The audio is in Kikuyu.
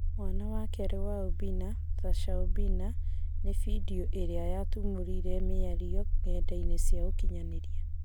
Mwana wa kerĩ wa Obina " Thaca Obina" na bindio ĩrĩa yatumũrire mĩario ng'enda-inĩ cia ũkinyanĩria.